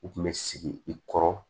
U kun bɛ sigi i kɔrɔ